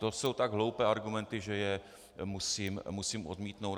To jsou tak hloupé argumenty, že je musím odmítnout.